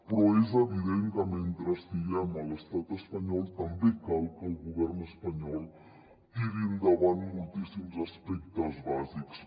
però és evident que mentre estiguem a l’estat espanyol també cal que el govern espanyol tiri endavant moltíssims aspectes bàsics